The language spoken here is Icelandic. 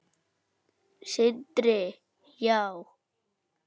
Sindri: Já?